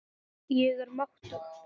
Ég er máttug.